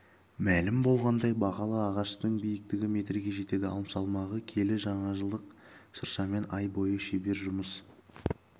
мәлім болғандай бағалы ағаштың биіктігі метрге жетеді ал салмағы келі жаңажылдық шыршамен ай бойы шебер жұмыс